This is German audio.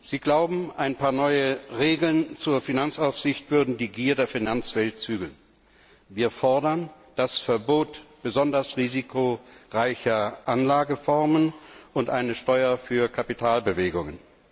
Sie glauben, ein paar neue Regeln zur Finanzaufsicht würden die Gier der Finanzwelt zügeln. Wir fordern das Verbot besonders risikoreicher Anlageformen und eine Steuer auf Kapitalbewegungen.